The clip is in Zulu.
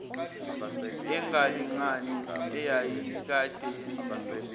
engalingani eyayikade yenziwe